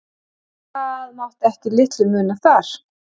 Það mátti ekki litlu muna þar.